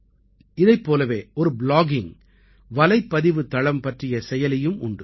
இதைப் போலவே ஒரு ப்ளாகிங் வலைப்பதிவுத் தளம் பற்றிய செயலியும் உண்டு